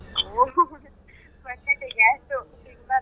ಹೋ ಬಟಾಟೆ gas ತಿನ್ಬಾರ್ದು.